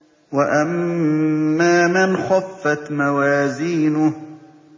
وَأَمَّا مَنْ خَفَّتْ مَوَازِينُهُ